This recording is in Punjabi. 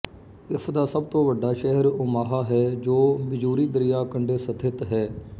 ਇਸ ਦਾ ਸਭ ਤੋਂ ਵੱਡਾ ਸ਼ਹਿਰ ਓਮਾਹਾ ਹੈ ਜੋ ਮਿਜ਼ੂਰੀ ਦਰਿਆ ਕੰਢੇ ਸਥਿਤ ਹੈ